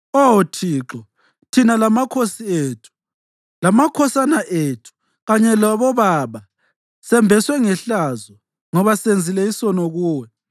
Oh Thixo, thina lamakhosi ethu, lamakhosana ethu kanye labobaba sembeswe ngehlazo ngoba senzile isono kuwe.